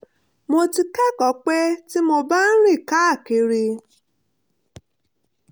mo ti kẹ́kọ̀ọ́ pé tí mo bá ń rìn káàkiri